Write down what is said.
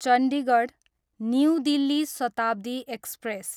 Chandigarh, new Delhi Shatabdi express